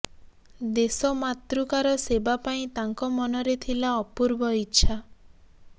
ଦେଶ ମାତୃକାର ସେବା ପାଇଁ ତାଙ୍କ ମନରେ ଥିଲା ଅପୂର୍ବ ଇଚ୍ଛା